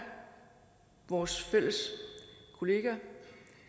vores fælles kollega